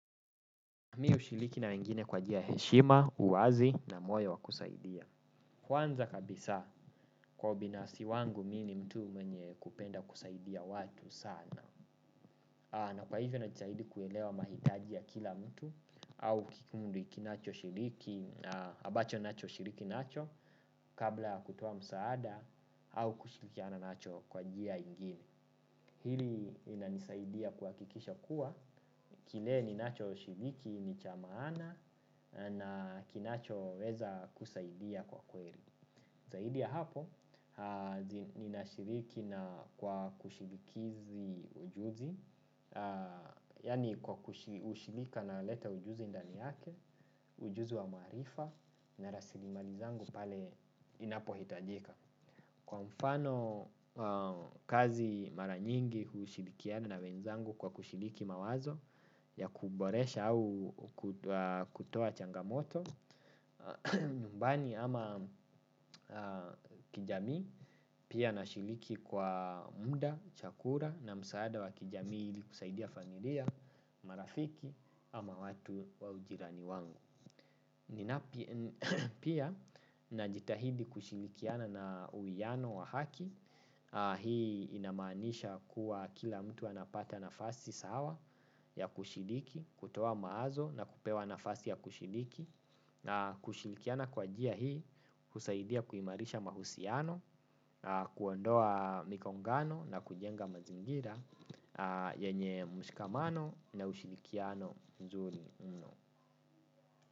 Mi hushiriki na wengine kwa njia ya heshima, uwazi na moyo wa kusaidia. Kwanza kabisa, kwa binafsi wangu mi ni mtu mwenye kupenda kusaidia watu sana. Na kwa hivyo najitahidi kuelewa mahitaji ya kila mtu, au kikundi ikinachoshiriki, ambacho nacho shiriki nacho, kabla kutoa msaada, au kushirikiana nacho kwa njia ingine. Hili inanisaidia kuhakikisha kuwa, kile ninachoshiriki ni cha maana na kinachoweza kusaidia kwa kweli. Zaidi ya hapo, ninashiriki na kwa kushidikizi ujuzi, yani kwa ushirika naleta ujuzi ndani yake, ujuzi wa maarifa na rasilimali zangu pale inapo hitajika. Kwa mfano kazi mara nyingi hushirikiana na wenzangu kwa kushiriki mawazo ya kuboresha au kutoa changamoto nyumbani ama kijamii, pia nashiriki kwa muda, chakula na msaada wa kijamii ili kusaidia familia, marafiki ama watu wa ujirani wangu. Pia, najitahidi kushirikiana na uwiano wa haki, hii inamaanisha kuwa kila mtu anapata nafasi sawa ya kushiriki, kutoa mawazo na kupewa nafasi ya kushiriki. Na kushirikiana kwa njia hii, husaidia kuimarisha mahusiano, kuondoa migongano na kujenga mazingira yenye mshikamano na ushirikiano mzuri mno.